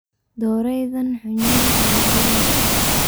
Doreydhan xunyadha aya diibeysa.